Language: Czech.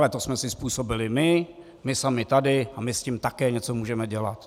Ale to jsme si způsobili my, my sami tady, a my s tím také něco můžeme dělat.